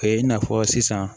E n'a fɔ sisan